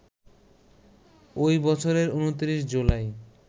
ওই বছরের ২৯ জুলাই